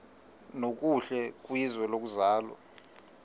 nokuhle kwizwe lokuzalwa